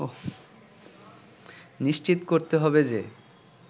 নিশ্চিত করতে হবে যে